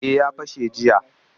Eh ya fashe jiya